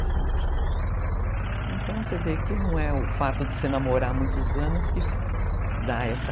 Então você vê que não é o fato de se namorar há muitos anos que dá essa...